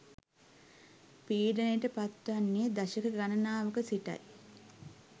පීඩනයට පත්වන්නේ දශක ගණනාවක සිටයි